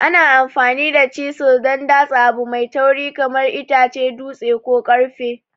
Ana amfani da chisil don datse abu mai tauri kamar itace, dutse, ko ƙarfe.